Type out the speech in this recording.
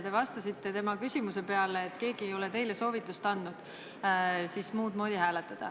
Te vastasite talle, et keegi ei ole andnud teile soovitust hääletada muud moodi.